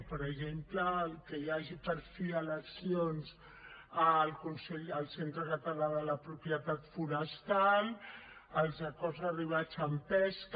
per exemple que hi hagi per fi eleccions al centre català de la propietat forestal els acords arribats amb pesca